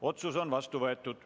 Otsus on vastu võetud.